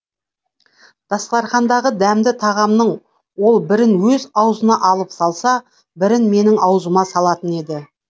дастарқандағы дәмді тағамнын ол бірін өз аузына алып салса бірін менің аузыма салатын еді